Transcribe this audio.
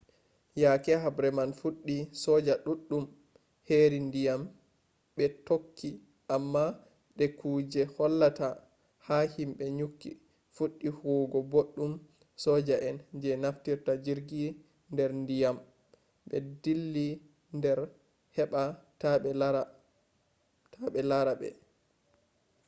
yake habre man fuɗɗi soja ɗuɗɗum heri ndiyam ɓe tokki amma de kuje hollata ha himɓe nyukki fuɗɗi huwugo boɗɗum soja en je naftirta jirgi nder ndiyam ɓe dilla nder nder heɓa taɓe lara ɓe